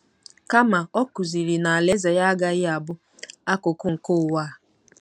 Kama, ọ kụziri na alaeze ya agaghị abụ “ akụkụ nke ụwa a.